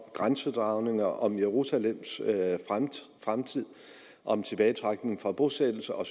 grænsedragninger om jerusalems fremtid om tilbagetrækning fra bosættelser og